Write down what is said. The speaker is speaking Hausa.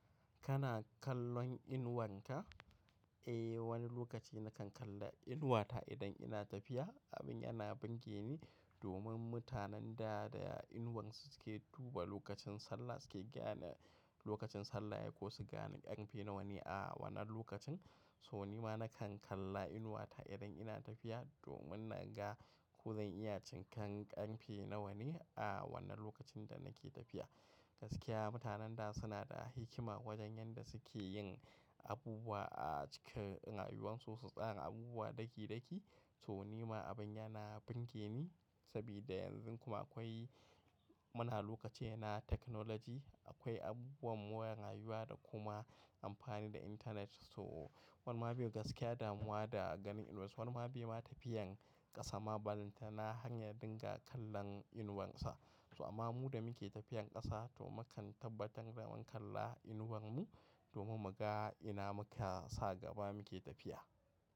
Kana kallon inuwanka? Eh, wani lokaci na kan kalla inuwata idan ina tafiya. Abin yana birge ni domin mutanen da da inuwansu suke duba lokacin sallah suke gane lokacin sallah yayi ko su gane ƙarfe nawane a wannan lokacin. So ni ma na kan kalla inuwata idan ina tafiya domin na ga ko zan iya cin kan ƙarfe nawane a wannan lokacin da nake tafiya. Gaskiya mutanen da suna da hikima wajen yanda suke yin abubuwa a cikin rayuwarsu su tsara abubuwa dakidaki. To ni ma abin yana burgeni sabida yanzu kuma akwai muna lokacin na technology. Akwai abubuwan more rayuwa da kuma amfani da internet. So wani ma bai gaskiya damuwa da ganin inuwa, wani ma bai ma tafiyan ƙasa ma ballantana hanya dinga kallon inuwansa. So amma mu da muke tafiyan ƙasa to mukan tabbatar da mun kalla inuwar mu domin mu ga ina muka sa gaba muke tafiya.